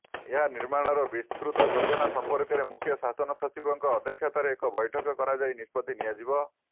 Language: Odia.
ଏହା ନିର୍ମାଣର ବିସ୍ତୃତ ଯୋଜନା ସମ୍ପର୍କରେ ମୁଖ୍ୟ ଶାସନ ସଚିବଙ୍କ ଅଧ୍ୟକ୍ଷତାରେ ଏକ ବୈଠକ କରାଯାଇ ନିଷ୍ପତ୍ତି ନିଆଯିବ